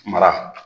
Mara